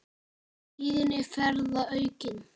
Tíðni ferða verði aukin.